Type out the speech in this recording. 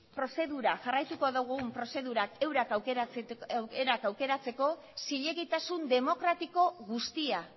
prozedura jarraituko dugun prozedura eurak aukeratzeko zilegitasun demokratiko guztia